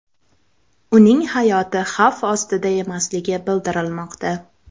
Uning hayoti xavf ostida emasligi bildirilmoqda.